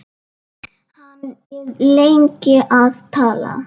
Hann er lengi að tala.